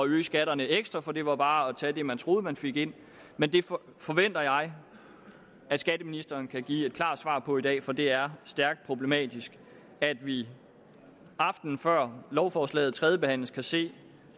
øge skatterne ekstra for det var bare at tage det man troede man fik ind men det forventer jeg skatteministeren kan give et klart svar på i dag for det er stærkt problematisk at vi aftenen før lovforslaget tredjebehandles kan se